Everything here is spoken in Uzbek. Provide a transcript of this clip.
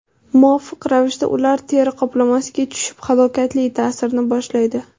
Muvofiq ravishda ular teri qoplamasiga tushib halokatli ta’sirini boshlaydi.